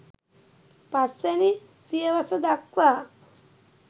පස් වැනි සියවස දක්වා